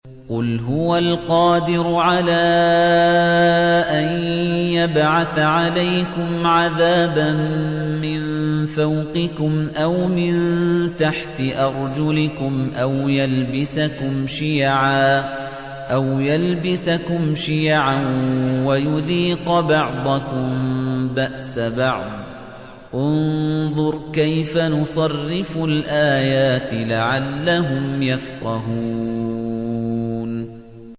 قُلْ هُوَ الْقَادِرُ عَلَىٰ أَن يَبْعَثَ عَلَيْكُمْ عَذَابًا مِّن فَوْقِكُمْ أَوْ مِن تَحْتِ أَرْجُلِكُمْ أَوْ يَلْبِسَكُمْ شِيَعًا وَيُذِيقَ بَعْضَكُم بَأْسَ بَعْضٍ ۗ انظُرْ كَيْفَ نُصَرِّفُ الْآيَاتِ لَعَلَّهُمْ يَفْقَهُونَ